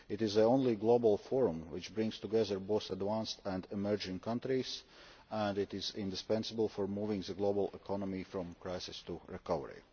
It is the only global forum which brings together both advanced and emerging countries, and it is indispensable for moving the global economy from crisis to recovery.